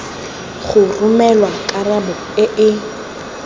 go romelwa karabo e e